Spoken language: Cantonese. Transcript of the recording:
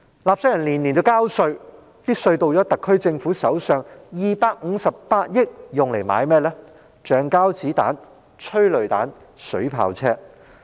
納稅人每年繳交稅款，稅款落入特區政府手上後，這258億元卻花在購買橡膠子彈、催淚彈、水炮車之上。